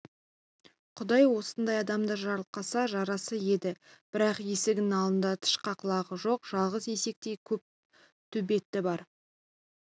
құдай осындай адамды жарылқаса жарасар еді бірақ есігінің алдында тышқақ лағы жоқ жалғыз есектей көк төбеті бар